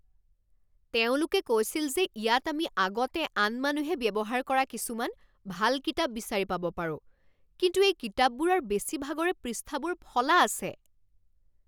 তেওঁলোকে কৈছিল যে ইয়াত আমি আগতে আন মানুহে ব্যৱহাৰ কৰা কিছুমান ভাল কিতাপ বিচাৰি পাব পাৰোঁ কিন্তু এই কিতাপবোৰৰ বেছিভাগৰে পৃষ্ঠাবোৰ ফলা আছে।